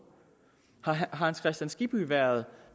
har herre hans kristian skibby været